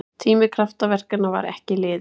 Tími kraftaverkanna var ekki liðinn!